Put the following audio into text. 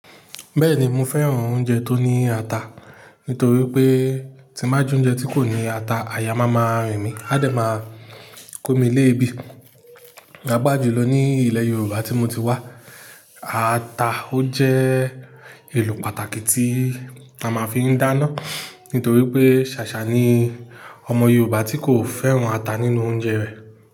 Bẹ́ẹ̀ni mo fẹ́ràn oúnjẹ tó ní ata, nítorí pé tí n ba jẹ oúnjẹ tí kò ní ata àyà má máa rìn mí, adé máa kó mi lébi. Ni agbájú ló ní ilẹ̀ Yorùbá tí mo ti wá, ata ó jẹ́ èlò pàtàkì tí a máa fi ń dáná, nítorí pé ṣàṣà ni ọmọ Yorùbá tí kò fẹ́ràn ata nínú oúnjẹ rẹ̀.